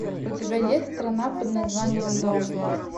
у тебя есть страна под названием дом